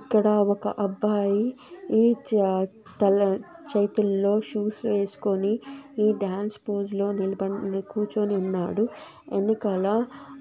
ఇక్కడ ఒక అబ్బాయి ఈ చ-తల-చేతుల్లో షూస్ వేసుకోని ఈ డాన్స్ పోజ్ లో నిలబడి-- కూర్చోని ఉన్నాడు వెనకాల